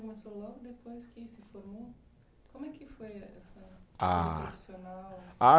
Começou logo depois que se formou? Como é que foi essa. Ah! profissional. Ah!